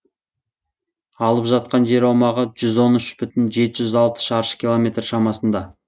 алып жатқан жер аумағы жүз он үш бүтін жеті жүз алты шаршы километр шамасында